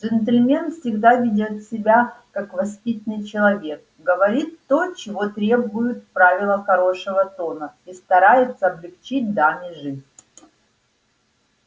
джентльмен всегда ведёт себя как воспитанный человек говорит то чего требуют правила хорошего тона и старается облегчить даме жизнь